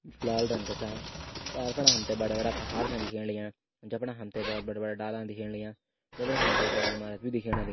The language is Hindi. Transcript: जु लाल रंग का चांट पार फणा हमथे बड़ा-बड़ा पहाड़ छन दिखेण लग्यां जबणा हमथे बहोत बडू-बड़ा डाला अन दिखेण लग्यां उबरी हमथे एक बड़ी ईमारत भी दिखेण लग --